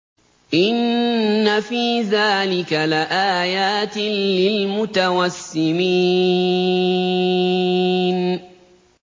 إِنَّ فِي ذَٰلِكَ لَآيَاتٍ لِّلْمُتَوَسِّمِينَ